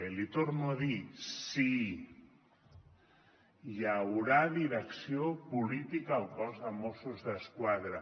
i l’hi torno a dir sí hi haurà direcció política al cos de mossos d’esquadra